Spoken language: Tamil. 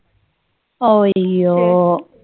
அய்யோ